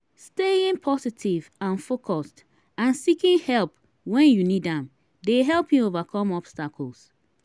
staying positive and focused and seeking help when you need am dey help you overcome obstacles.